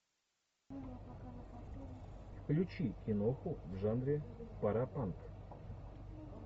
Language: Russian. включи киноху в жанре паропанк